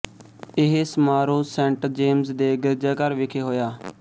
ਇਹ ਸਮਾਰੋਹ saint James ਦੇ ਗਿਰਜਾਘਰ ਵਿਖੇ ਹੋਇਆ